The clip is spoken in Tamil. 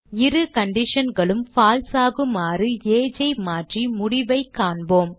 இரு conditionகளும் பால்சே ஆகுமாறு age ஐ மாற்றி முடிவைக் காண்போம்